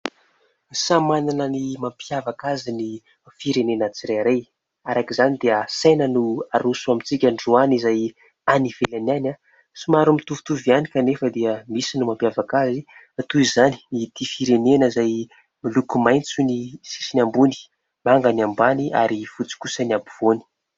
Samy manana ny mampiavaka azy ny firenena tsirairay, araka izany dia saina no aroso amintsika androany, izay any ivelany any, somary mitovitovy ihany kanefa dia misy no mampiavaka azy, toy izany ity firenena izay miloko : maitso ny sisiny ambony, manga ny ambany ary fotsy kosa ny ampovoany.